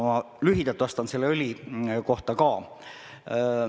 Ma lühidalt vastan õlitehase kohta ka.